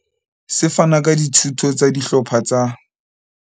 Se fana ka dithuto tsa dihlopha tsa